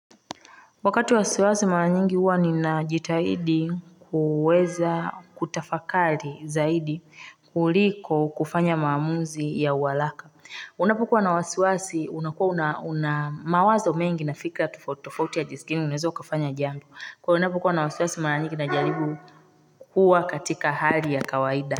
Wakati wa wasiwasi maranyingi huwa ninajitahidi kuweza kutafakari zaidi kuliko kufanya maamuzi ya uwalaka. Unapokua na wasiwasi unakua unamawazo mengi na fikra tofauti tofauti ya jinsi gani unaweza kafanya jamb. Kwa unapokua na wasiwasi maranyingi najaribu kuwa katika hali ya kawaida.